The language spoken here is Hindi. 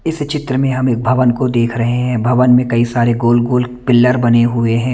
इस चित्र मे हम एक भवन को देख रहे है भवन में कई सारे गोल गोल पिल्लर बने हुए हैं।